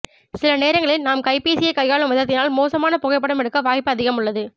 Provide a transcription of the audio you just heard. சில நேரங்களில் நாம் கைப்பேசியை கையாளும் விதத்தினால் மோசமான புகைப்படம் எடுக்க வாய்ப்பு அதிகம் உள்ளது